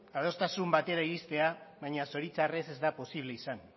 adostasun batera iristea baina zoritxarrez ez da posible izan